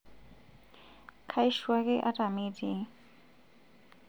kaishu ake ataa mitii